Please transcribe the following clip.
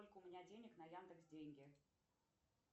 сколько у меня денег на яндекс деньги